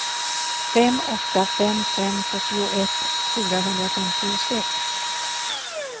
fem åtta fem fem fyrtioett fyrahundrafemtiosex